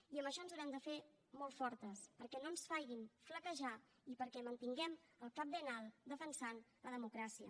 i amb això ens haurem de fer molt fortes perquè no ens facin flaquejar i perquè mantinguem el cap ben alt defensant la democràcia